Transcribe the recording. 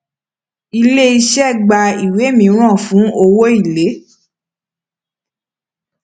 iléiṣẹ gba ìwé mìíràn fún owó èlé